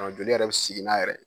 Ɔ Joli yɛrɛ be sigi n'a yɛrɛ ye